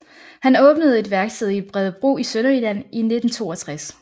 Han åbnede et værksted i Bredebro i Sønderjylland i 1962